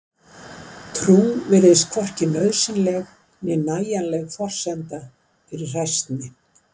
trú virðist hvorki nauðsynleg né nægjanleg forsenda fyrir hræsni